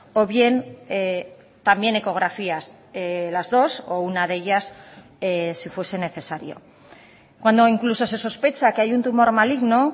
o bien también ecografías las dos o una de ellas si fuese necesario cuando incluso se sospecha que hay un tumor maligno